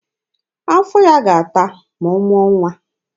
Afọ ya ga-ata ma ọ mụọ nwa.